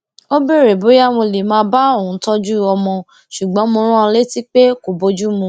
ó béèrè bóyá mo lè máa bá òun tójú ọmọ ṣùgbọn mo rán an létí pé kò bójú mu